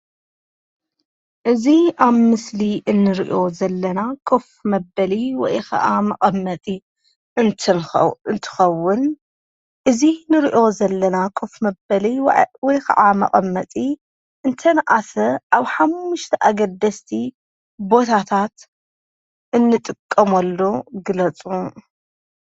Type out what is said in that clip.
እዚ አብ ምስሊ እንሪኦ ዘለና ኮፍ መበሊ ወይ ኸዓ መቀመጢ አንትንኸ እንትኸውን እዚ ንሪኦ ዘለና ኮፍ መበሊ ወይ ወይ ኸዓ መቀመጢ እንተነአሰ አብ ሓሙሽተ አገደስቲ ቦታታት እንጥቀመሉ ግለፁ።